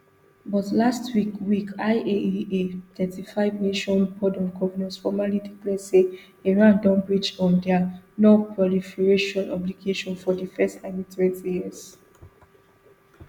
but last week week iaea thirty-fivenation board of governors formally declare say iran don breach um dia nonproliferation obligations for di first time in twenty years